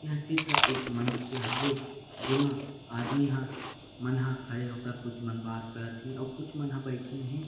यह चित्र एक मंच के हवे जेमा आदमी ह मन ह खड़े होकर कुछ मन बात करत हे अऊ कुछ मन बैठिन हे।